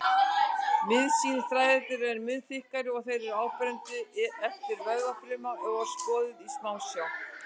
Mýósín-þræðirnir eru mun þykkari og þeir eru áberandi ef vöðvafruma er skoðuð í smásjá.